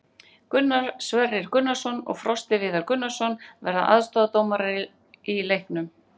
Gunnar Sverrir Gunnarsson og Frosti Viðar Gunnarsson verða aðstoðardómarar í leiknum.